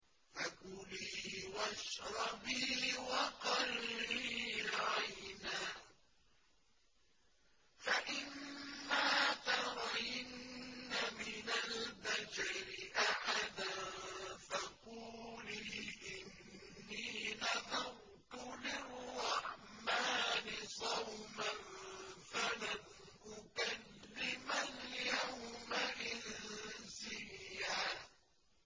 فَكُلِي وَاشْرَبِي وَقَرِّي عَيْنًا ۖ فَإِمَّا تَرَيِنَّ مِنَ الْبَشَرِ أَحَدًا فَقُولِي إِنِّي نَذَرْتُ لِلرَّحْمَٰنِ صَوْمًا فَلَنْ أُكَلِّمَ الْيَوْمَ إِنسِيًّا